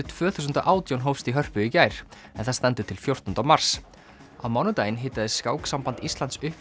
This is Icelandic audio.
tvö þúsund og átján hófst í Hörpu í gær en það stendur til fjórtánda mars á mánudaginn hitaði Skáksamband Íslands upp